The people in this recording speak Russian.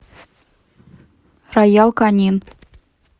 роял канин